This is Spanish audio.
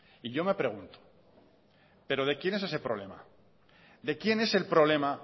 y yo me pregunto pero de quién es ese problema de quién es el problema